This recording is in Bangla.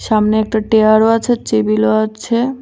সামনে একটা টেয়ারও আছে চেবিলও আছে।